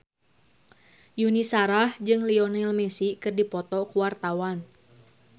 Yuni Shara jeung Lionel Messi keur dipoto ku wartawan